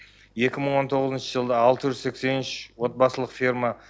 екі мың он тоғызыншы жылы алты жүз сексен үш отбасылық ферма